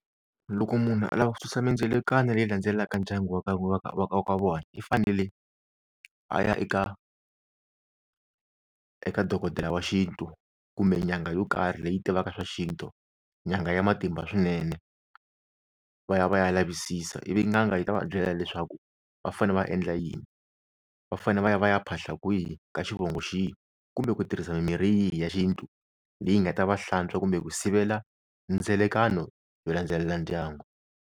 Loko munhu a lava ku susa mindzelakano leyi landzelaka ndyangu wa ka wa ka wa ka wa ka vona i fanele a ya eka eka dokodela wa xintu kumbe nyanga yo karhi leyi tivaka swa xintu nyanga ya matimba swinene va ya va ya lavisisa ivi n'anga yi ta va byela leswaku va fane va endla yini, va fanele va ya va ya phahla kwihi ka xivongo xihi kumbe ku tirhisa mimirhi yihi ya xintu leyi nga ta va hlantswa kumbe ku sivela ndzelekano yo landzelela ndyangu.